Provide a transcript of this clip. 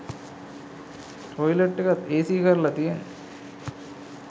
toilet එකත් AC කරලා තියෙන්නේ